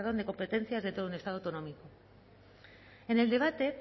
de competencias de todo un estado autonómico en el debate